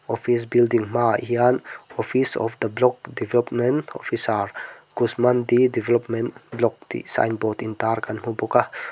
office building hmaah hian office of the block development officer kushmandi development block tih sign board intar kan hmuh bawk a.